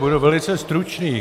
Budu velice stručný.